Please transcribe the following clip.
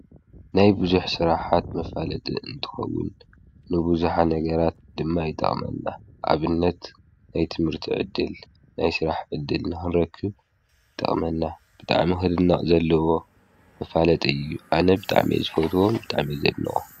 ናይ ብዙኅ ሥራኃት መፋለጥ እንትኸውን ንብዙኃ ነገራት ድማ ኣይጠቕመና ኣብነት ናይ ትምህርቲ ዕድል ናይ ሥራሕ እድል ንኅንረክብ ጠቕመና ብጣኣ ም ኽድና ዘለዎ ምፋለጥ እዩ ኣነ ብጣዕሜ ዝጐትዎም ብጣዕሜ ዘድኖ።